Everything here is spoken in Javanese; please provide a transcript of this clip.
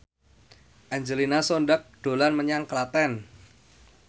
Angelina Sondakh dolan menyang Klaten